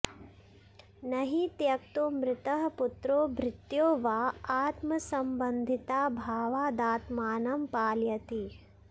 न हि त्यक्तो मृतः पुत्रो भृत्यो वा आत्मसम्बन्धिताभावादात्मानं पालयति